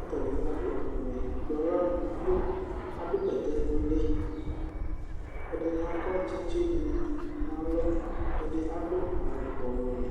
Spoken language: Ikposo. ɔtabi adu awu wɛ du aɣla nu akpo adu bɛtɛ nuli ɛdini akɔ tsitsi nalɔ ɛdini adu awu ɔɣlɔmɔ